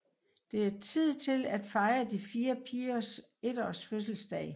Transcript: Det er tid til at fejre de fire pigers 1 års fødselsdag